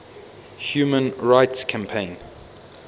human rights campaign